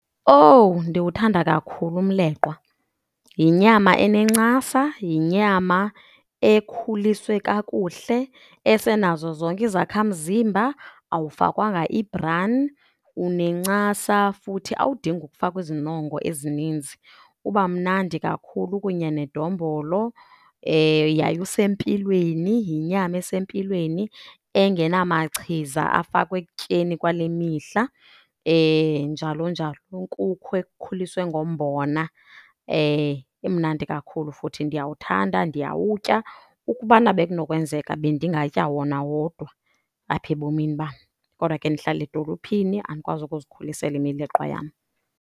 Owu ndiwuthanda kakhulu umleqwa. Yinyama enencasa, yinyama ekhuliswe kakuhle esenazo zonke izakha mzimba, awufakwanga i-brine, unencasa futhi awudingi ukufakwa izinongo ezininzi. Uba mnandi kakhulu kunye nedombolo yaye usempilweni, yinyama esempilweni engenamachiza afakwa ekutyeni kwale mihla njalo njalo. Uyinkukhu ekhuliswe ngombona, imnandi kakhulu futhi ndiyawuthanda ndiyawutya. Ukubana bekunokwenzeka bendingatya wona wodwa apha ebomini bam kodwa ke ndihlala edolophini andikwazi ukuzikhulisela imileqwa yam.